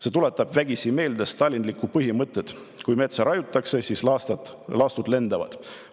"See tuletab vägisi meelde stalinlikku põhimõtet – kui metsa raiutakse, siis laastud lendavad."